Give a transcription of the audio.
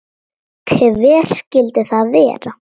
Hver skyldi það vera?